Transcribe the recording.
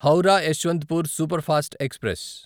Howrah Yesvantpur superfast express